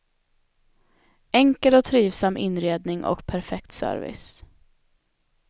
Enkel och trivsam inredning och perfekt service.